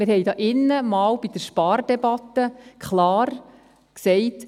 Bei der Spardebatte sagten wir hier drinnen einmal klar: